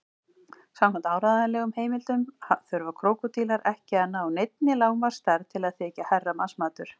Samkvæmt áreiðanlegum heimildum þurfa krókódílar ekki að ná neinni lágmarksstærð til að þykja herramannsmatur.